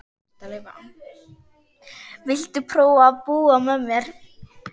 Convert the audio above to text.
Viltu prófa að búa með mér.